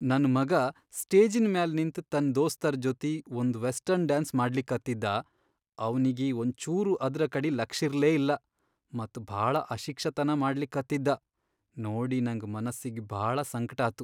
ನನ್ ಮಗಾ ಸ್ಟೇಜಿನ್ ಮ್ಯಾಲ್ ನಿಂತ್ ತನ್ ದೋಸ್ತರ್ ಜೊತಿ ಒಂದ್ ವೆಸ್ಟರ್ನ್ ಡ್ಯಾನ್ಸ್ ಮಾಡ್ಲಿಕತ್ತಿದ್ದಾ ಅವ್ನಿಗಿ ಒಂಚೂರೂ ಅದ್ರಕಡಿ ಲಕ್ಷಿರ್ಲೇ ಇಲ್ಲಾ ಮತ್ ಭಾಳ ಅಶಿಕ್ಷತನಾ ಮಾಡ್ಲಿಕತ್ತಿದ್ದಾ ನೋಡಿ ನಂಗ್ ಮನಸ್ಸಿಗಿ ಭಾಳ ಸಂಕ್ಟಾತು.